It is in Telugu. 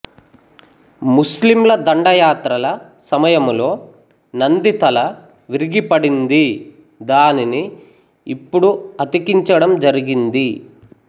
ముస్లింల దండయాత్రల సమయంలో నంది తల విరిగి పడింది దానిని ఇప్పుడు అతికించడం జరిగింది